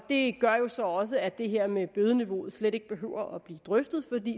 det gør jo så også at det her med bødeniveauet slet ikke behøver at blive drøftet